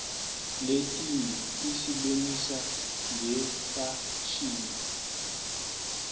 letinye tisibonisa ngefashini